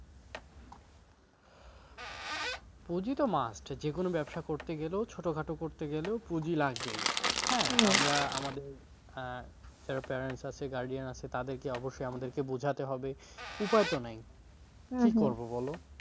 পুঁজি তো must যেকোনো ব্যবসা করতে গেলেও ছোটখাট করতে গেলেও পুঁজি লাগবেই, আমরা আমাদের আহ যারা parents আছে guardian আছে তাদেরকে অবশ্যই আমাদের বোঝাতে হবে উপায় তো নেই বলো